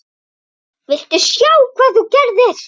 VILTU SJÁ HVAÐ ÞÚ GERÐIR!